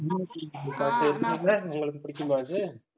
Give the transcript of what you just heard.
உங்களுக்கு புடிக்குமா இது